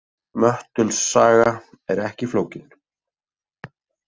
Möttuls saga er ekki flókin.